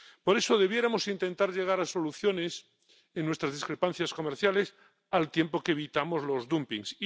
Por eso debiéramos intentar llegar a soluciones en nuestras discrepancias comerciales, al tiempo que evitamos los dumpings.